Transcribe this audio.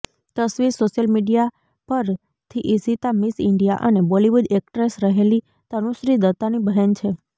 તસવીર social media પરથીઇશિતા Miss India અને બોલિવૂડ એક્ટ્રેસ રહેલી તનુશ્રી દત્તાની બહેન છે